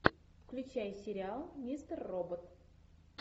включай сериал мистер робот